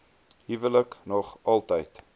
huwelike nog altyd